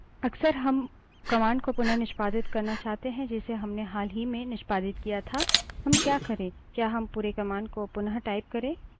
अक्सर हम command को पुनः निष्पादित करना चाहते हैं जिसे हमने हाल ही में निष्पादित किया था हम क्या करे क्या हम पुरे command को पुन: type करे